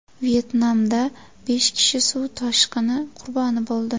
Vyetnamda besh kishi suv toshqini qurboni bo‘ldi.